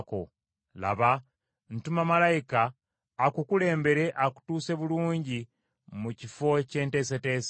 “Laba, ntuma malayika akukulembere, akutuuse bulungi mu kifo kye nteeseteese.